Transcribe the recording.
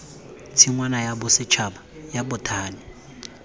tshingwana ya bosetšhaba ya bothani